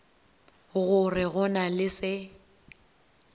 gore go na le se